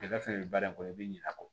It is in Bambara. baara in kɔnɔ i bɛ ɲinɛ a kɔ